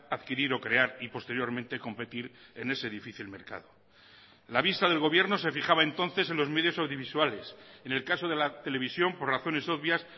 adquirir o crear y posteriormente competir en ese difícil mercado la vista del gobierno se fijaba entonces en los medios audiovisuales en el caso de la televisión por razones obvias